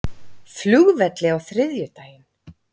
flugvelli á þriðjudaginn.